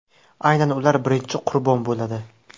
Aynan ular birinchi qurbon bo‘ladi.